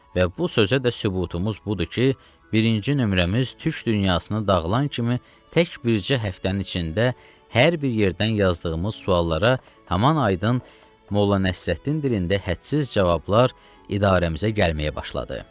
Və bu sözə də sübutumuz budur ki, birinci nömrəmiz türk dünyasını dağılan kimi tək bircə həftənin içində hər bir yerdən yazdığımız suallara haman aydın Molla Nəsrəddin dilində hədsiz cavablar idarəmizə gəlməyə başladı.